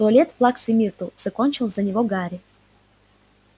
туалет плаксы миртл закончил за него гарри